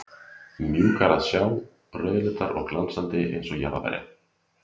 mjúkar að sjá, rauðleitar og glansandi, eins og jarðarberja